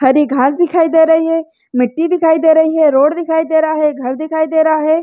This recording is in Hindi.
हरी घाँस दिखाई दे रही है मिटटी दिखाई दे रही है रोड दिखाई दे रहा है घर दिखाई दे रहा है।